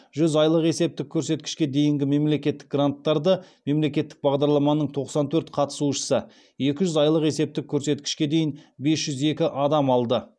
жүз айлық есептік көрсеткішке дейінгі мемлекеттік гранттарды мемлекеттік бағдарламаның тоқсан төрт қатысушысы екі жүз айлық есептік көрсеткішке дейін бес жүз екі адам алды